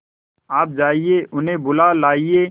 आप जाइए उन्हें बुला लाइए